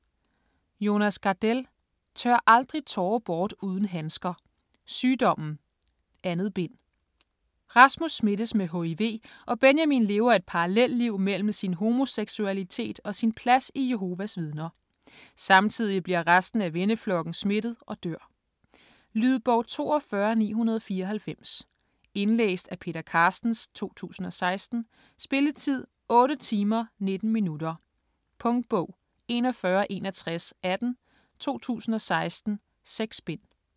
Gardell, Jonas: Tør aldrig tårer bort uden handsker: Sygdommen: 2. bind Rasmus smittes med hiv og Benjamin lever et parallelliv mellem sin homoseksualitet og sin plads i Jehovas Vidner. Samtidig bliver resten af venneflokken smittet og dør. Lydbog 42994 Indlæst af Peter Carstens, 2016. Spilletid: 8 timer, 19 minutter. Punktbog 416118 2016. 6 bind.